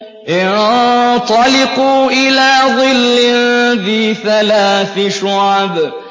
انطَلِقُوا إِلَىٰ ظِلٍّ ذِي ثَلَاثِ شُعَبٍ